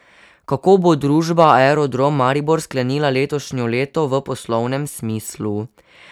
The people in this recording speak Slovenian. Kako bo družba Aerodrom Maribor sklenila letošnje leto v poslovnem smislu?